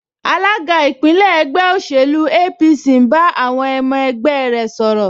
Alága ìpínlẹ̀ ẹgbẹ́ òṣèlú APC ń bá àwọn ọmọ ẹgbẹ́ sọ̀rọ̀